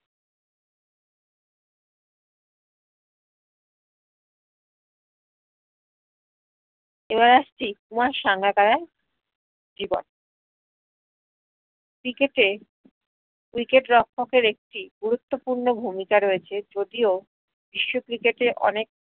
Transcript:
এবার আস্ছি কুমার সাঙ্গাকারার জীবন cricket এ wicket রক্ষকদের একটি গুরুত্বপুর্ন ভূমিকা রয়েছে যদিও বিশ্ব cricket এ অনেক